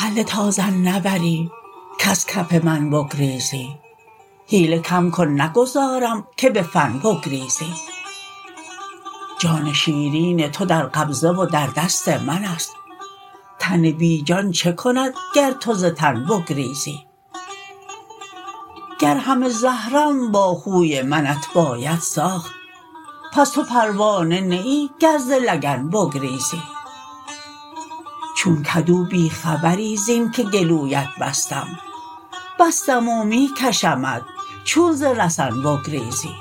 هله تا ظن نبری کز کف من بگریزی حیله کم کن نگذارم که به فن بگریزی جان شیرین تو در قبضه و در دست من است تن بی جان چه کند گر تو ز تن بگریزی گر همه زهرم با خوی منت باید ساخت پس تو پروانه نه ای گر ز لگن بگریزی چون کدو بی خبری زین که گلویت بستم بستم و می کشمت چون ز رسن بگریزی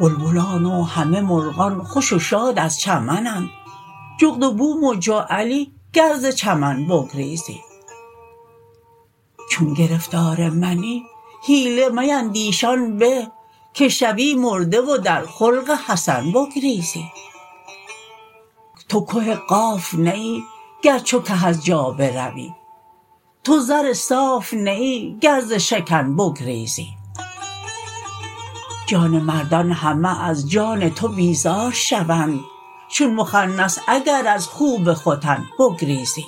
بلبلان و همه مرغان خوش و شاد از چمنند جغد و بوم و جعلی گر ز چمن بگریزی چون گرفتار منی حیله میندیش آن به که شوی مرده و در خلق حسن بگریزی تو که قاف نه ای گر چو که از جا بروی تو زر صاف نه ای گر ز شکن بگریزی جان مردان همه از جان تو بیزار شوند چون مخنث اگر از خوب ختن بگریزی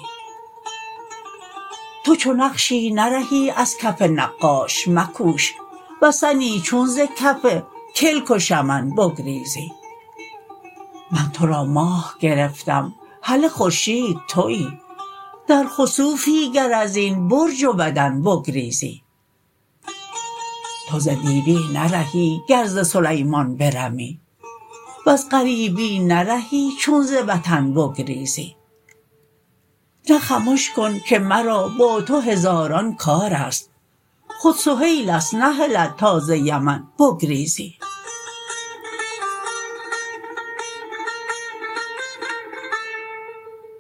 تو چو نقشی نرهی از کف نقاش مکوش وثنی چون ز کف کلک و شمن بگریزی من تو را ماه گرفتم هله خورشید توی در خسوفی گر از این برج و بدن بگریزی تو ز دیوی نرهی گر ز سلیمان برمی وز غریبی نرهی چون ز وطن بگریزی نه خمش کن که مرا با تو هزاران کار است خود سهیلت نهلد تا ز یمن بگریزی